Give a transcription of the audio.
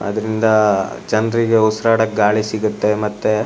ಅದರಿಂದ ಜನರಿಗೆ ಉಸಿರಾಡಕೆ ಗಾಳಿ ಸಿಗುತ್ತೆ ಮತ್ತೆ --